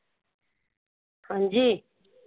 ਹਾਂ ਜੀ।